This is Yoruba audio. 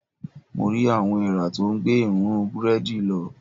Mo rí àwọn eèrà tó ń gbé èrúnrún búrẹ́dì lọ.